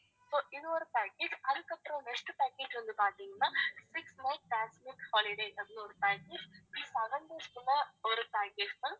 இது ஒரு package அதுக்கப்புறம் next package வந்து பாத்தீங்கன்னா six night pack with holidays அப்படின்னு ஒரு package seven days கு உள்ள ஒரு package ma'am